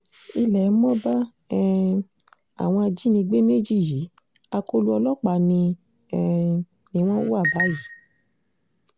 ilé mo bá um àwọn ajínigbé méjì yìí akóló ọlọ́pàá ni um wọ́n wà báyìí